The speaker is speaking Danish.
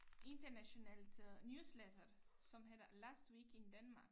Internationalt øh newsletter som hedder Last Week in Denmark